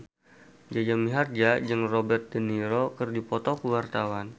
Jaja Mihardja jeung Robert de Niro keur dipoto ku wartawan